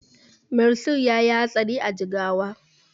Mansur yayi hatsari a Jigawa